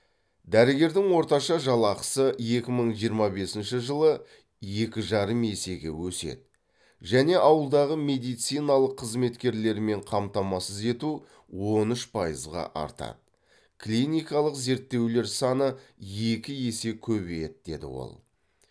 дәрігердің орташа жалақысы екі мың жиырма бесінші жылы екі жарым есеге өседі және ауылдағы медициналық қызметкерлермен қамтамасыз ету он үш пайызға артады клиникалық зерттеулер саны екі есе көбейеді деді ол